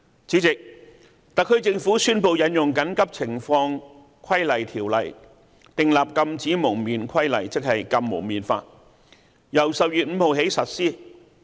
主席，特區政府宣布引用《緊急情況規例條例》訂立《禁止蒙面規例》，由10月5日起實施。